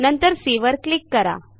नंतर सी वर क्लिक करा